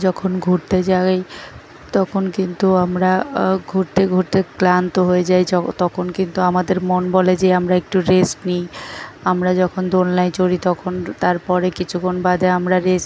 যখন ঘুরতে যাই তখন কিন্তু আমরা ঘুরতে ঘুরতে ক্লান্ত হয়ে যাই তখন কিন্তু আমাদের মন বলে যে আমরা একটু রেস্ট নিই আমরা যখন দোলনায় চড়ি তখন তারপরে কিছুক্ষণ বাদে আমরা রেস্ট --